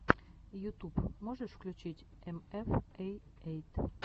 ютуб можешь включить эфэм эй эйт